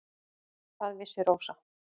Hvað vissi Rósa.